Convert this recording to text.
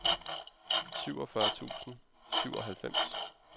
syvogfyrre tusind og syvoghalvfems